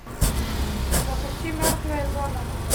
запусти мертвая зона